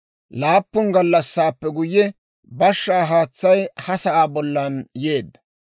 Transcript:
Laappun gallassaappe guyye, bashshaa haatsay ha sa'aa bollan yeedda.